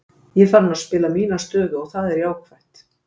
Ég er farinn að spila mína stöðu og það er jákvætt.